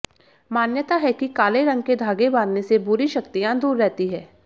मान्यता है कि काले रंग के धागे बांधने से बुरी शक्तियां दूर रहती हैं